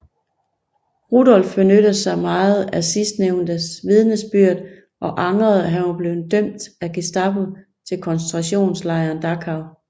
Rudolf benyttede sig meget af sidstnævntes vidnesbyrd og angrede at han var blevet dømt af Gestapo til koncentrationslejren Dachau